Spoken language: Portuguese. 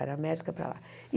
Área médica, para lá.